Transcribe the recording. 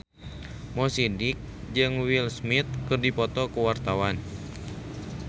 Mo Sidik jeung Will Smith keur dipoto ku wartawan